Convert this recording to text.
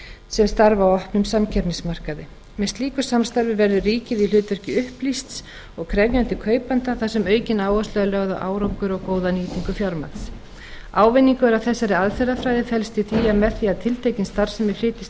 sem starfa á opnum samkeppnismarkaði með slíku samstarfi verður ríkið í hlutverki upplýsts og krefjandi kaupanda þar sem aukin áhersla er lögð á árangur og góða nýtingu fjármagns ávinningur af þessari aðferðafræði felst í því að með því að tiltekin starfsemi flytjist til